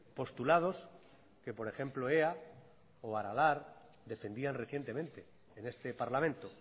postulados que por ejemplo ea o aralar defendían recientemente en este parlamento